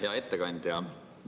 Hea ettekandja!